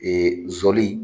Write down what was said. Ee zɔli